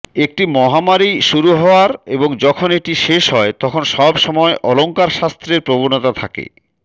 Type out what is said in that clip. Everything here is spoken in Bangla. একটি মহামারী শুরু হওয়ার এবং যখন এটি শেষ হয় তখন সবসময় অলঙ্কারশাস্ত্রের প্রবণতা থাকে